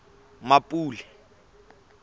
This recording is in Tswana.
mmapule